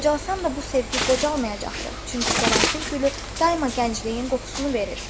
Qocalmasam da bu sevgi qocalmayacaqdır, çünki qərənfil gülü daima gəncliyin qoxusunu verir.